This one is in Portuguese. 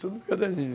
Tudo em caderninho.